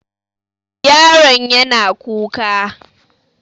Yaron yana kuka.